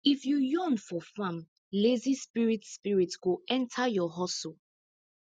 if you yawn for farm lazy spirit spirit go enter your hustle